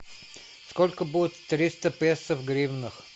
сколько будет триста песо в гривнах